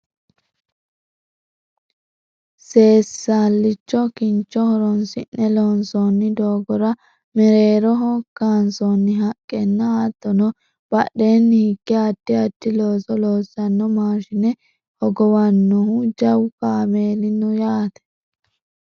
seesallicho kincho horonsi'ne loonsoonni doogora mereeroho kaansoonni haqqenna hattono badheenni hige addi addi looso loossanno maashine hogowannohu jawu kameeeli no yaate